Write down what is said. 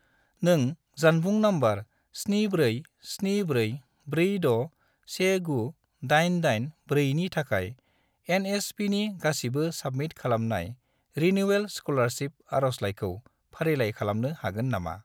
नों जानबुं नम्बर 74744619884 नि थाखाय एन.एस.पि.नि गासिबो साबमिट खालामनाय रिनिउयेल स्कलारसिप आरजलाइखौ फारिलाइ खालामनो हागोन नामा?